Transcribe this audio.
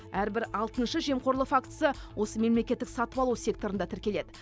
әрбір алтыншы жемқорлық фактісі осы мемлекеттік сатып алу секторында тіркеледі